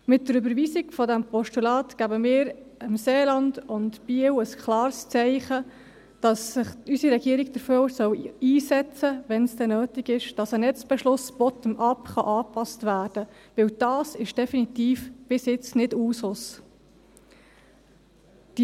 Mit der Überweisung des Postulats geben wir dem Seeland und Biel ein klares Zeichen, dass sich unsere Regierung dafür einsetzen soll – wenn es denn nötig ist –, dass ein Netzbeschluss bottom-up abgeklärt werden kann, weil das bis jetzt definitiv nicht Usus ist.